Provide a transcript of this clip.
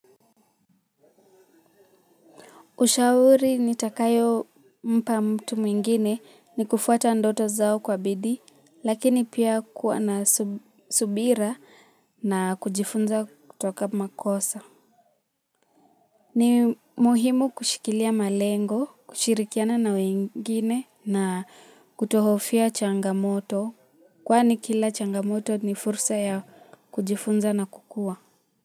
Ushauri nitakayo mpa mtu mwingine ni kufuata ndoto zao kwa bidii, lakini pia kuwa na subira na kujifunza kutoka makosa. Ni muhimu kushikilia malengo, kushirikiana na wengine na kutohofia changamoto, kwani kila changamoto ni fursa ya kujifunza na kukua.